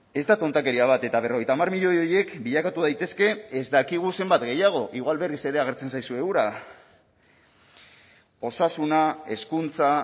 ez da tontakeria bat eta berrogeita hamar milioi horiek bilakatu daitezke ez dakigu zenbat gehiago igual berriz ere agertzen zaizue ura osasuna hezkuntza